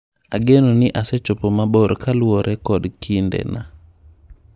Ageno ni asechopo mabor kaluore kod kind na."